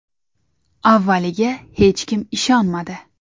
Avvaliga hech kim ishonmadi.